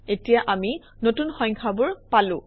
এতিয়া আমি নতুন সংখ্যাবোৰ পালো